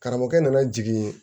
Karamɔgɔkɛ n nana jigin